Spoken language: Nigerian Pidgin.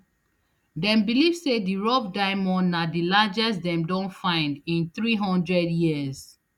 dem believe say di rough diamond na di largest dem don find in three hundred years